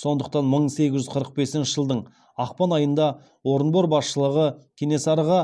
сондықтан мың сегіз жүз қырық бесінші жылдың ақпан айында орынбор басшылығы кенесары